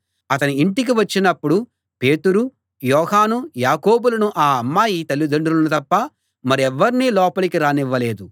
అతని ఇంటికి వచ్చినప్పుడు పేతురు యోహాను యాకోబులనూ ఆ అమ్మాయి తల్లిదండ్రులనూ తప్ప మరెవర్నీ లోపలికి రానివ్వలేదు